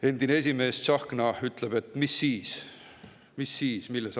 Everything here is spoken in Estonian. Teie endine esimees Tsahkna ütleb, et mis siis – mis siis!